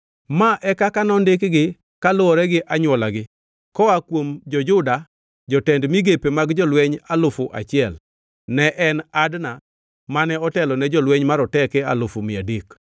Ma e kaka nondikgi kaluwore gi anywolagi: Koa kuom jo-Juda jotend migepe mag jolweny alufu achiel (1,000) ne en Adna mane otelo ne jolweny maroteke alufu mia adek (300,000);